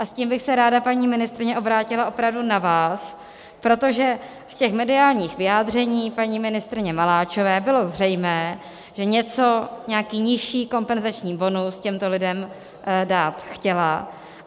A s tím bych se ráda, paní ministryně, obrátila opravdu na vás, protože z těch mediálních vyjádření paní ministryně Maláčové bylo zřejmé, že něco, nějaký nižší kompenzační bonus těmto lidem dát chtěla.